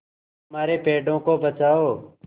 हमारे पेड़ों को बचाओ